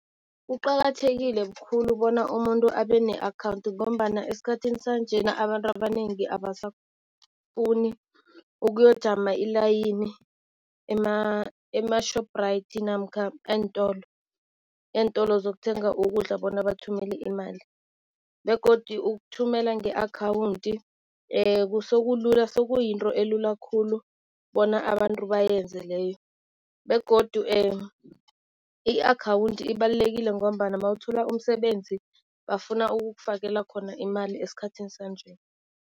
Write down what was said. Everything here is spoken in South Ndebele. Kuqakathekile khulu bona umuntu abe ne-akhawunthu ngombana esikhathini sanjena abantu abanengi abasafuni ukuyojama i-line ema-shoprite namkha eentolo, entolo zokuthenga ukudla bona bathumele imali. Begodu ukuthumela nge-akhawunthi sekulula sekuyinto elula khulu bona abantu bayenze leyo. Begodu i-akhawunthi ibalulekile ngombana mawuthola umsebenzi bafuna ukukufakela khona imali esikhathini sanje.